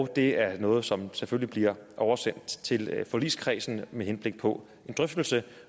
det er noget som selvfølgelig bliver oversendt til forligskredsen med henblik på en drøftelse